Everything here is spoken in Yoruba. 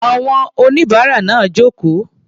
Àwọn oníbàárà náà jókòó.